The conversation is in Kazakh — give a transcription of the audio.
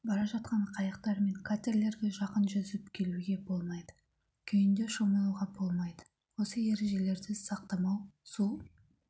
бара жатқан қайықтар мен катерлерге жақын жүзіп келуге болмайды күйінде шомылуға болмайды осы ережелерді сақтамау су